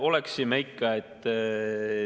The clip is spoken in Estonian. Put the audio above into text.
Oleksime ikka.